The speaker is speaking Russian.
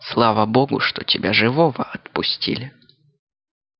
слава богу что тебя живого отпустили